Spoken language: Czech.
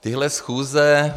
téhle schůze...